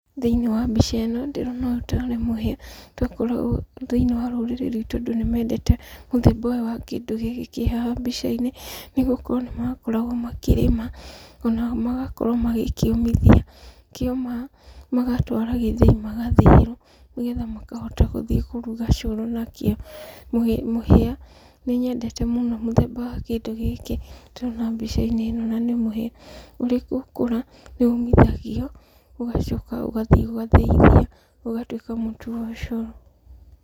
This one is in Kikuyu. Thĩinĩ wa mbica ĩno, ndĩrona ũyũ tarĩ mũhĩa, tũkoragwo, thĩinĩ wa rũrĩrĩ ruitũ andũ nĩmendete mũthemba ũyũ wa kĩndũ gĩkĩ kĩ haha mbica-inĩ, nĩgũkorwo nĩmakoragwo makĩrĩma, onao magakorwo magĩkĩũmithia. Kĩoma, magatwara gĩthĩi magathĩithia, nĩgetha makahota gũthiĩ kũruga cũrũ nakĩo. Mũhĩa, nĩnyendete mũno mũthemba wa kĩndũ gĩkĩ ndĩrona mbica-inĩ ĩno na nĩ mũhĩa. Ũrĩ gũkũra, nĩũmithagio, ũgacoka ũgathiĩ ũgathĩithia, ũgatuĩka mũtu wa ũcũrũ.